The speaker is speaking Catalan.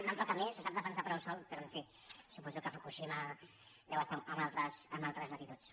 no em toca a mi se sap defensar prou sol però en fi su·poso que fukushima deu estar en altres latituds